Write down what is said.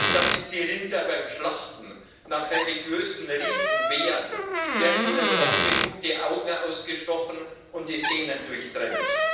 Da sich die Rinder beim Schlachten nach religiösen Riten wehren, werden ihnen oft genug die Augen ausgestochen und die Sehnen durchtrennt.